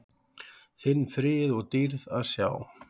þinn frið og dýrð að sjá.